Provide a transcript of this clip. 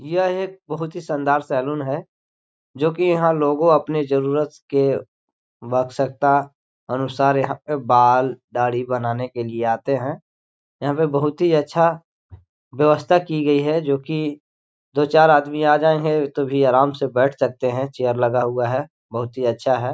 यह एक बहोत ही शानदार सेलून है जोकि यहाँ लोंगो अपनें जरूरत के अनुसार यहाँ पे बाल दाड़ी बनाने के लिए आते है यहाँ पे बहोत ही अच्छा व्यवस्था की गई है जोकि दो चार आदमी आ जाए है तो भी आराम से बैठ सकते है चेयर लगा हुआ है बहोत ही अच्छा है।